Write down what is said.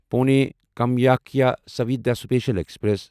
Pune Kamakhya Suvidha special express